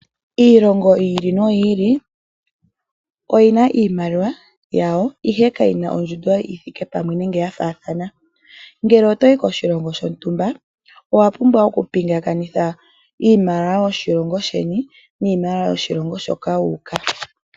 Iilongo yi ili noyi ili oyina iimaliwa yawo ihe kayina ondjundo yithike pamwe nenge ya faathana. Ngele otoi koshilongo shontumba owapumbwa okupingakanitha iimaliwa yoshilongo sheni niimaliwa yoshilongo hoka wuuka.